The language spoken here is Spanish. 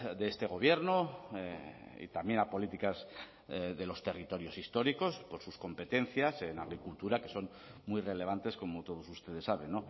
de este gobierno y también a políticas de los territorios históricos por sus competencias en agricultura que son muy relevantes como todos ustedes saben